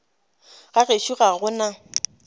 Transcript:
ga gešo ga go na